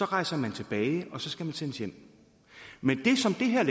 rejser tilbage og så skal man sendes hjem men det som det her